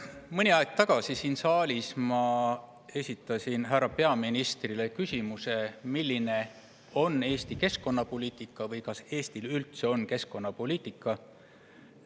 Mõni aeg tagasi esitasin ma siin saalis härra peaministrile küsimuse, milline on Eesti keskkonnapoliitika või kas Eestil üldse on keskkonnapoliitika.